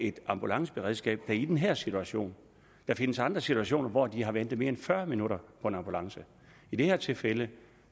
et ambulanceberedskab i den her situation der findes andre situationer hvor de har ventet i mere end fyrre minutter på en ambulance i det her tilfælde